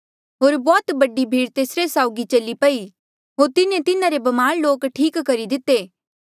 होर बौह्त बडी भीड़ तेसरे साउगी चली पई होर तिन्हें तिन्हारे ब्मार लोक ठीक करी दिते